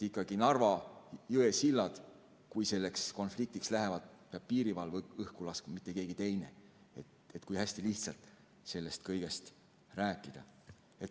Narva jõe sillad, kui konfliktiks läheb, peab õhku laskma piirivalve, mitte keegi teine – kui hästi lihtsalt sellest kõigest rääkida.